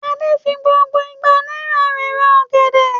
Adé fi gbogbo igba náírà rẹ̀ ra ọ̀gẹ̀dẹ̀?